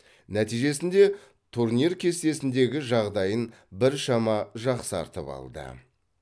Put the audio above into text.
нәтижесінде турнир кестесіндегі жағдайын біршама жақсартып алды